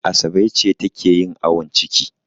Asabe ce take yin awon ciki.